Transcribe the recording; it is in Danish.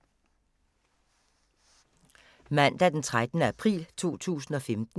Mandag d. 13. april 2015